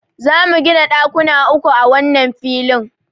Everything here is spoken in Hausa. Za mu gina ɗakuna uku a wannan filin.